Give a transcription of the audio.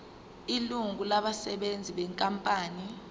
ilungu labasebenzi benkampani